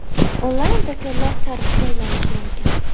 Onlayn do‘konlar tarixga aylanishi mumkin.